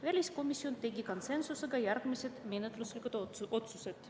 Väliskomisjon tegi konsensuslikult järgmised menetluslikud otsused.